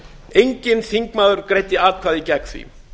enginn þingmaður greiddi atkvæði gegn því